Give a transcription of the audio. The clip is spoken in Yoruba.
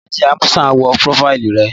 Bolaji Amusan wo prófáìlì rẹ